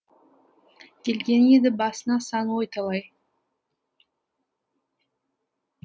келген еді басына сан ой талай